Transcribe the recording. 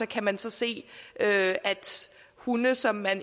kan man så se at hunde som man